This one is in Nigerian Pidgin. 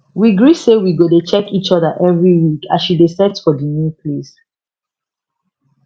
we gree say we go dey check each other every week as she dey set for the new place